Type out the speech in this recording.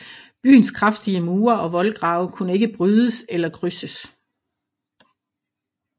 Byens kraftige mure og voldgrave kunne ikke brydes eller krydses